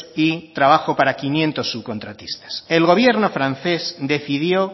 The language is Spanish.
y trabajo para quinientos subcontratistas el gobierno francés decidió